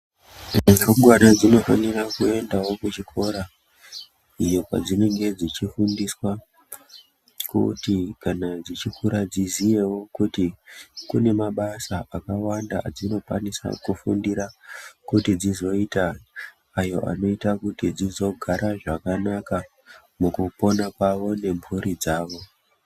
Rumbwana dzinofanira kuendawo kuzvikora iyoo padzinenge dzichifundiswa kuti kana dzichikura dziziyewo kuti kune mabasa akawanda adzinokwanisa kufundira kuti dzizoita ayo anoita kuti dzizogara zvakanaka mukupona kwavo nemburi dzavo.